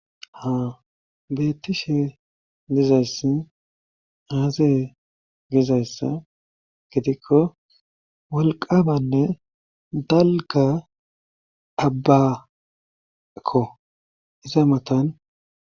Ha beettishe dizayssi aaze gizayssa gidikko wolqamanne dalga abbakko iza matan.